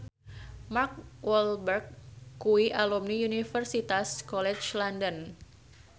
Mark Walberg kuwi alumni Universitas College London